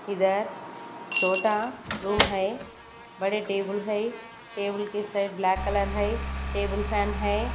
इधर छोटा रूम है बड़े टेबुल है टेबल के साइड ब्लैक कलर है टेबल फैन है।